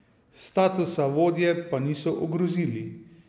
Statusa vodje pa niso ogrozili.